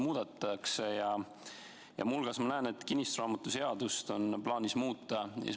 Muu hulgas ma näen, et plaanis on muuta kinnistusraamatu seadust.